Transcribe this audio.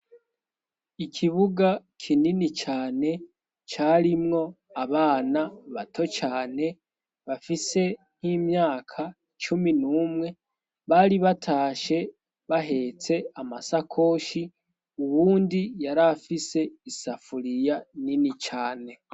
Ikibuga kinini cane carimwo abana bato cane bafise nk'imyaka cumi n'umwe bari batashe bahetse amasakoshi uwundi yariafise isafuriya nini cane.